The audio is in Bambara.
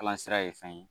Kalan sira ye fɛn ye